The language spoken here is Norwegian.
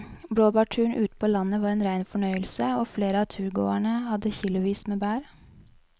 Blåbærturen ute på landet var en rein fornøyelse og flere av turgåerene hadde kilosvis med bær.